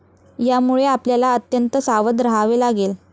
यामुळे आपल्याला अत्यंत सावध रहावे लागेल.